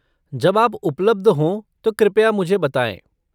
जब आप उपलब्ध हो तो कृपया मुझे बताएँ।